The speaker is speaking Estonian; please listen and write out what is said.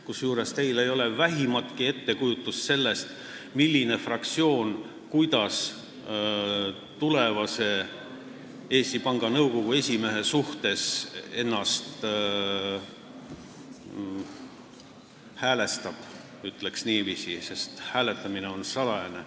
Kusjuures teil ei ole vähimatki ettekujutust sellest, kuidas fraktsioonid ennast tulevase Eesti Panga Nõukogu esimehe suhtes häälestavad, sest hääletamine on salajane.